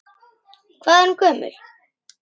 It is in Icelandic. Hvað er hún gömul?